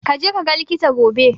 Ka je kaga likita gobe.